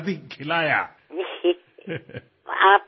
এই যি আপোনত্ব পৰিয়ালৰ যি বান্ধোন তাৰ এক বিশেষ আনন্দ মই লাভ কৰো